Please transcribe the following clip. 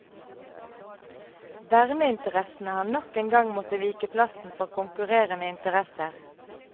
Verneinteressene har nok en gang måttet vike plassen for konkurrerende interesser.